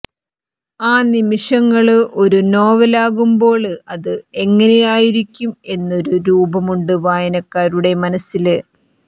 ആ നിമിഷങ്ങള് ഒരു നോവലാകുമ്പോള് അത് എങ്ങനെയായിരിക്കും എന്നൊരു രൂപമുണ്ട് വായനക്കാരുടെ മനസ്സില്